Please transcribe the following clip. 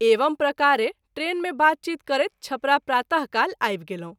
एवं प्रकारे ट्रेन मे बात चीत करैत छपरा प्रात: काल आबि गेलहुँ।